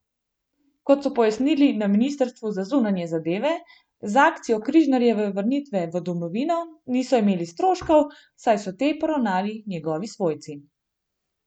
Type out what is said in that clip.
Kot so pojasnili na ministrstvu za zunanje zadeve, z akcijo Križnarjeve vrnitve v domovino niso imeli stroškov, saj so te poravnali njegovi svojci.